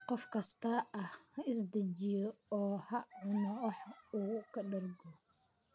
Qof kastaa ha is dejiyo oo ha cuno wax uu ka dhergo